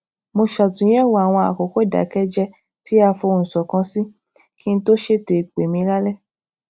mo ṣàtúnyèwò àwọn àkókò ìdàkẹjẹẹ tí a fohùn ṣòkan sí kí n tó ṣètò ìpè mi lálé